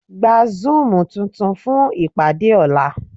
Gba Zúùmù tuntun fún ìpàdé ọ̀la.